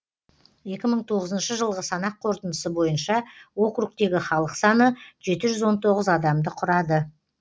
екі мың тоғызыншы жылғы санақ қорытындысы бойынша округтегі халық саны жеті жүз он тоғыз адамды құрады